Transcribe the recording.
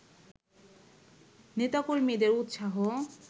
নেতাকর্মীদের উৎসাহ